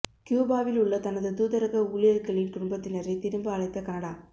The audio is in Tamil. கியூபாவில் உள்ள தனது தூதரக ஊழியர்களின் குடும்பத்தினரை திரும்ப அழைத்த கனடா